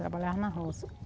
Trabalhava na roça.